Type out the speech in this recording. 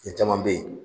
Fɛn caman bɛ yen